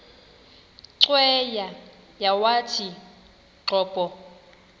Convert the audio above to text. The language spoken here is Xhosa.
cweya yawathi qobo